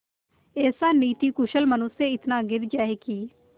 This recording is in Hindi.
ऐसा नीतिकुशल मनुष्य इतना गिर जाए कि